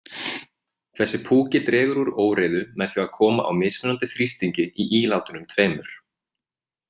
Þessi púki dregur úr óreiðu með því að koma á mismunandi þrýstingi í ílátunum tveimur.